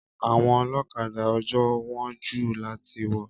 Àwọn Olókadà ojoo wón jù láti wò